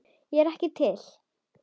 Ég er ekki til.